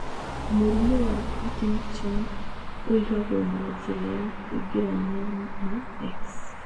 Mũrimũ wa Partington ũigagwo na njĩra ya kũingĩrania na X.